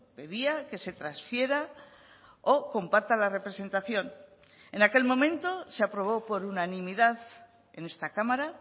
pedía que se transfiera o comparta la representación en aquel momento se aprobó por unanimidad en esta cámara